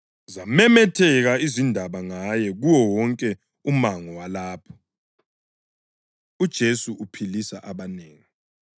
Zamemetheka izindaba ngaye kuwo wonke umango walapho. UJesu Uphilisa Abanengi